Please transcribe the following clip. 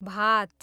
भात